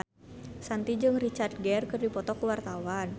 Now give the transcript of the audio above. Shanti jeung Richard Gere keur dipoto ku wartawan